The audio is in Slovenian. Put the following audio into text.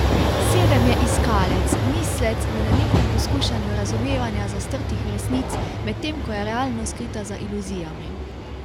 Sedem je iskalec, mislec, v nenehnem poskušanju razumevanja zastrtih resnic, medtem ko je realnost skrita za iluzijami.